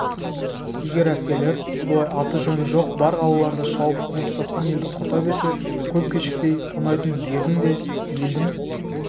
егер әскерлер бұлай аты-жөні жоқ бар қалаларды шауып қоныстасқан елді құрта берсе көп кешікпей тонайтын жердің де елдің